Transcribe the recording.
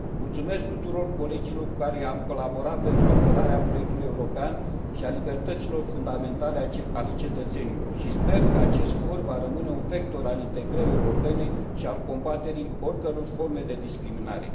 Mulțumesc tuturor colegilor cu care am colaborat pentru apărarea proiectului european și a libertăților fundamentale ale cetățenilor și sper că acest for va rămâne un vector al integrării europene și al combaterii oricăror forme de discriminare.